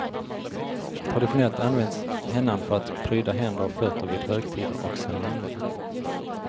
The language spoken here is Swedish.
Traditionellt används hennan för att pryda händer och fötter vid högtider och ceremonier.